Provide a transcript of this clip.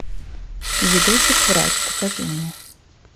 видосик врач покажи мне